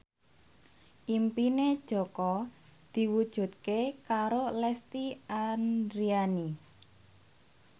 impine Jaka diwujudke karo Lesti Andryani